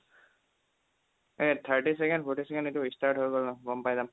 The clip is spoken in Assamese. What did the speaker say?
এই thirty চেকেণ্ড forty চেকেণ্ড এইটো start হৈ গ'ল ন গম পাই যাম